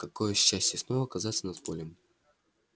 какое счастье снова оказаться над полем